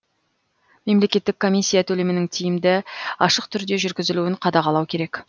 мемлекеттік комиссия төлемінің тиімді ашық түрде жүргізілуін қадағалау керек